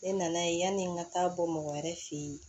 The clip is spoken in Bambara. Ne nan'a ye yani n ka taa bɔ mɔgɔ wɛrɛ fe yen